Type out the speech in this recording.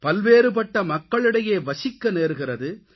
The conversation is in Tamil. பல்வேறுபட்ட மக்களிடையே வசிக்க நேர்கிறது